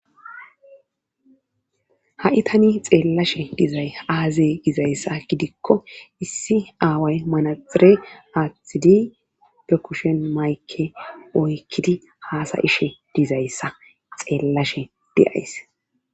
ha7i tani xeellashe dizay aazey gizayssa gidikko issi aaway manaxire aathtidi be kushen maykke oykkidi haasayishe dizayssa xeellashe diyays